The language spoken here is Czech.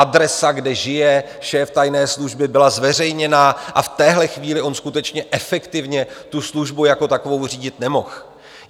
Adresa, kde žije šéf tajné služby, byla zveřejněna, a v téhle chvíli on skutečně efektivně tu službu jako takovou řídit nemohl.